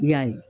I y'a ye